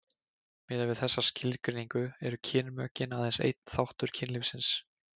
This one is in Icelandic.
miðað við þessa skilgreiningu eru kynmökin aðeins einn þáttur kynlífsins